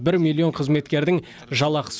бір миллион қызметкердің жалақысы